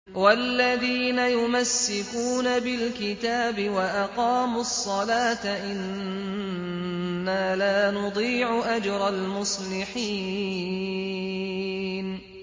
وَالَّذِينَ يُمَسِّكُونَ بِالْكِتَابِ وَأَقَامُوا الصَّلَاةَ إِنَّا لَا نُضِيعُ أَجْرَ الْمُصْلِحِينَ